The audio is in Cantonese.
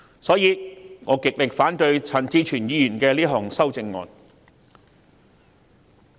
因此，我極力反對陳志全議員這項修正案。